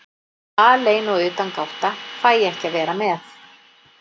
Alein og utangátta, fæ ekki að vera með.